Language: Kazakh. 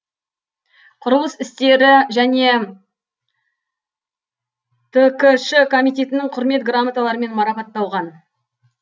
құрылыс істері және ткш комитетінің құрмет грамоталарымен марапатталған